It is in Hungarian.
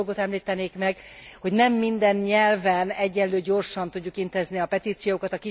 Még egy dolgot említenék meg nem minden nyelven egyenlő gyorsan tudjuk intézni a petíciókat.